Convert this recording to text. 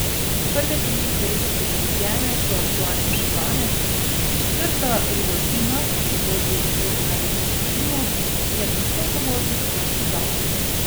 Prve tri, seveda posodobljene, so aktualne še danes, četrta Rudolfina, ki vodi skozi največjo divjino, je postopoma utonila v pozabo.